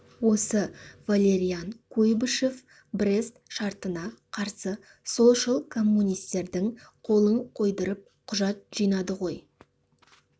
осы валериан куйбышев брест шартына қарсы солшыл коммунистердің қолын қойдырып құжат жинады ғой